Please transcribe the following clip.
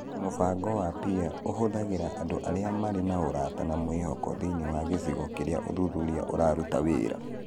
Mũbango wa PEER ũhũthagĩra andũ arĩa marĩ na ũrata na mwĩhoko thĩinĩ wa gĩcigo kĩrĩa ũthuthuria ũraruta wĩra.